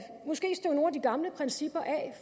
de gamle principper